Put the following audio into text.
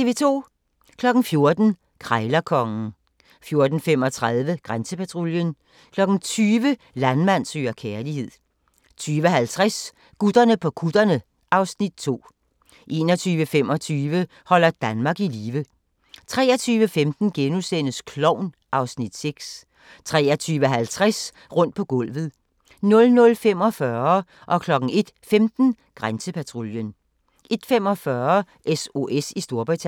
14:00: Krejlerkongen 14:35: Grænsepatruljen 20:00: Landmand søger kærlighed 20:50: Gutterne på kutterne (Afs. 2) 21:25: Holder Danmark i live 23:15: Klovn (Afs. 6)* 23:50: Rundt på gulvet 00:45: Grænsepatruljen 01:15: Grænsepatruljen 01:45: SOS i Storbritannien